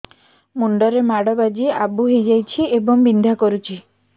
ମୁଣ୍ଡ ରେ ମାଡ ବାଜି ଆବୁ ହଇଯାଇଛି ଏବଂ ବିନ୍ଧା କରୁଛି